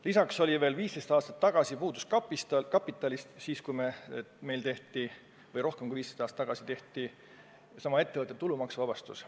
Lisaks, veel 15 aastat tagasi või rohkem kui 15 aastat tagasi puudus meil kapital – siis meil tehtigi seesama ettevõtte tulumaksuvabastus.